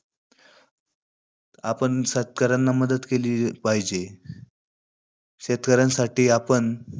आपण शेतकऱ्यांना मदत केली पाहिजे. शेतकऱ्यांसाठी आपण